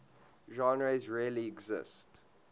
genres really exist